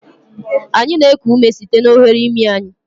Anyị na-eku ume site n'oghere imi anyị.